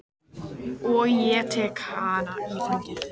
Og ég tek hana í fangið.